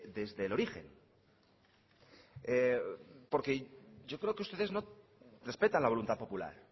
desde el origen porque yo creo que ustedes no respetan la voluntad popular